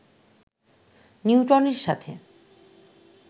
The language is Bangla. নিউটনের সাথে